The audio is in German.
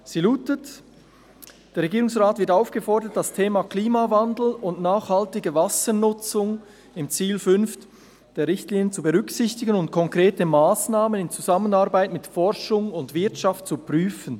Sie lautet: «Der Regierungsrat wird aufgefordert, das Thema Klimawandel und nachhaltige Wassernutzung im Ziel 5 … der Richtlinien zu berücksichtigen und konkrete Massnahmen in Zusammenarbeit mit Forschung und Wirtschaft zu prüfen.